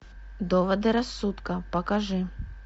доводы рассудка покажи